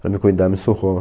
Para me cuidar, me surrou.